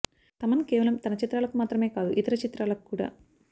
తమన్ కేవలం తన చిత్రాలకు మాత్రమే కాదు ఇతర చిత్రాలకు కూడా